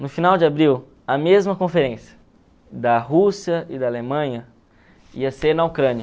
No final de abril, a mesma conferência da Rússia e da Alemanha ia ser na Ucrânia.